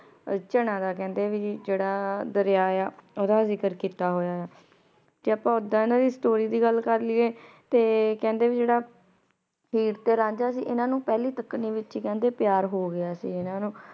ਚਨਾ ਦਾ ਕੇਹ੍ਨ੍ਡੇ ਵੀ ਜੇਰਾ ਦਰਯਾ ਆਯ ਆ ਓਹਦਾ ਜ਼ਿਕਰ ਕੀਤਾ ਗਯਾ ਆਯ ਆ ਤੇ ਆਪਾਂ ਓਦਾਂ ਇਨਾਂ ਦੀ ਸਟੋਰੀ ਦੀ ਗਲ ਕਰ ਲਿਯੇ ਤੇ ਕੇਹ੍ਨ੍ਡੇ ਭਾਈ ਜੇਰਾ ਹੀਰ ਤੇ ਰਾਂਝਾ ਸੀ ਇਨਾਂ ਨੂ ਪਹਲੀ ਤਕਨੀ ਵਿਚ ਈ ਕੇਹੰਡੀ ਪਯਾਰ ਹੋ ਗਯਾ ਸੀ